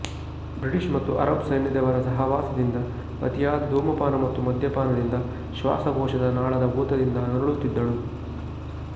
British ಮತ್ತು Arab ಸೈನ್ಯದವರ ಸಹವಾಸದಿಂದ ಅತಿಯಾದ ಧೂಮಪಾನ ಮತ್ತು ಮದ್ಯಪಾನದಿಂದ ಶ್ವಾಸಕೋಶದ ನಾಳದ ಊತದಿಂದ ನರಳುತ್ತಿದ್ದಳು